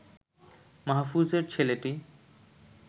মাহফুজের ছেলেটি